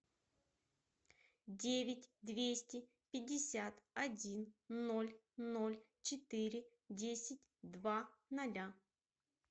девять двести пятьдесят один ноль ноль четыре десять два ноля